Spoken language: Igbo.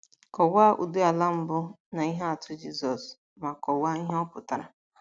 Kọwaa ụdị ala mbụ na ihe atụ Jisọs, ma kọwaa ihe ọ pụtara.